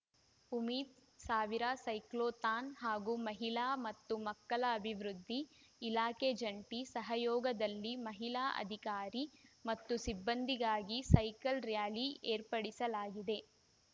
ಉಮೀದ್‌ ಸಾವಿರ ಸೈಕ್ಲೊಥಾನ್‌ ಹಾಗೂ ಮಹಿಳಾ ಮತ್ತು ಮಕ್ಕಳ ಅಭಿವೃದ್ಧಿ ಇಲಾಖೆ ಜಂಟಿ ಸಹಯೋಗದಲ್ಲಿ ಮಹಿಳಾ ಅಧಿಕಾರಿ ಮತ್ತು ಸಿಬ್ಬಂದಿಗಾಗಿ ಸೈಕಲ್‌ ರ‍್ಯಾಲಿ ಏರ್ಪಡಿಸಲಾಗಿದೆ